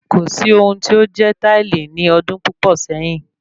Kò sí ohun tí ó jẹ́ táìlì ní ọdún púpò sẹyìn